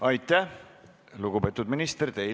Aitäh, lugupeetud minister!